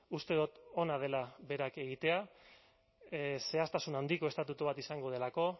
uste dut ona dela berak egitea zehaztasun handiko estatutu bat izango delako